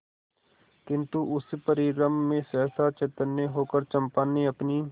किंतु उस परिरंभ में सहसा चैतन्य होकर चंपा ने अपनी